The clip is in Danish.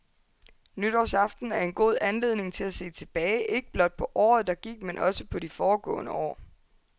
Nytårsaften er en god anledning til at se tilbage, ikke blot på året, der gik, men også på de foregående år.